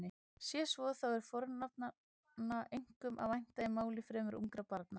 Sé svo þá er fornafnanna einkum að vænta í máli fremur ungra barna.